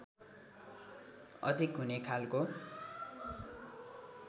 अधिक हुने खालको